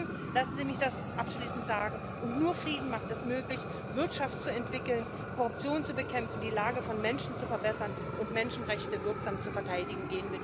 Frieden lassen Sie mich das abschließend sagen und nur Frieden macht es möglich, Wirtschaft zu entwickeln, Korruption zu bekämpfen, die Lage von Menschen zu verbessern und Menschenrechte wirksam zu verteidigen.